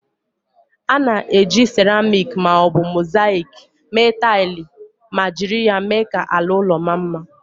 A na-eji ceramik ma ọ bụ mosaịk mee taịlị ma jiri ya mee ka ala ụlọ maa mma.